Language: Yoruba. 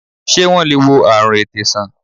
Ṣé wọn le wo àrùn ètè san?